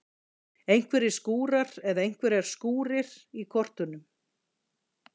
Einhverjir skúrar eða einhverjar skúrir í kortunum?